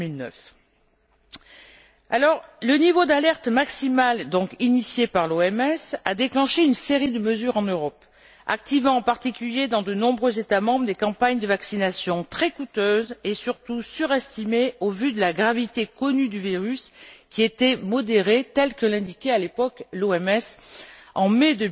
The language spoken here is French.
2009. Le niveau d'alerte maximal initié par l'OMS a déclenché une série de mesures en Europe, activant en particulier dans de nombreux États membres des campagnes de vaccination très coûteuses et surtout surestimées au vu de la gravité connue du virus qui était modérée, ainsi que l'indiquait à l'époque l'OMS en mai